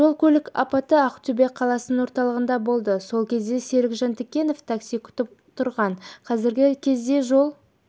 жол-көлік апаты ақтөбе қаласының орталығында болды сол кезде серік жантікенов такси күтіп тұрған қазіргі кезде жол